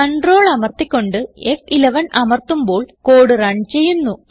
Ctrl അമർത്തി കൊണ്ട് ഫ്11 അമർത്തുമ്പോൾ കോഡ് റൺ ചെയ്യുന്നു